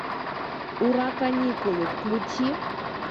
ура каникулы включи